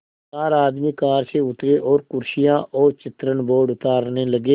चार आदमी कार से उतरे और कुर्सियाँ और चित्रण बोर्ड उतारने लगे